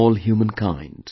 To all humankind